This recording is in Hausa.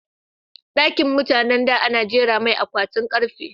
Ɗakin mutanan da ana jera mai akwatin karfe